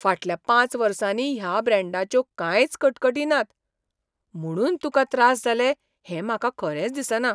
फाटल्या पांच वर्सांनी ह्या ब्रँडाच्यो कांयच कटकटी नात, म्हुणून तुका त्रास जाले हें म्हाका खरेंच दिसना.